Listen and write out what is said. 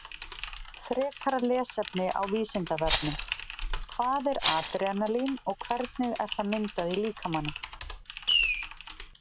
Frekara lesefni á Vísindavefnum Hvað er adrenalín og hvernig er það myndað í líkamanum?